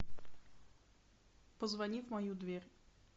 позвони в мою дверь